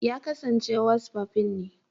Ya kasance wasfafin ne.